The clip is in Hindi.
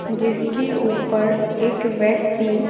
जिसके ऊपर एक व्यक्ति--